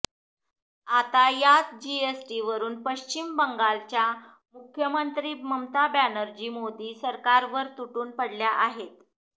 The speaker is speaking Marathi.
आता याच जीएसटीवरून पश्चिम बंगालच्या मुख्यमंत्री ममता बॅनर्जी मोदी सरकारवर तुटून पडल्या आहेत